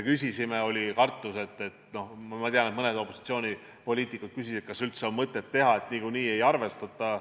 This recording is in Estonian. Ma tean, et mõned opositsioonipoliitikud küsisid, kas üldse on mõtet neid teha, et niikuinii ei arvestata.